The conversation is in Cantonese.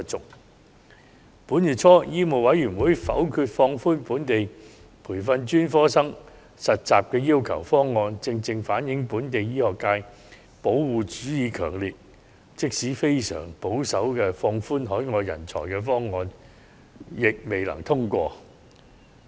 在本月初，香港醫務委員會否決放寬本地培訓專科醫生實習要求的方案，正正反映出本地醫學界保護主義強烈，即使非常保守的放寬海外人才方案，也未能通過。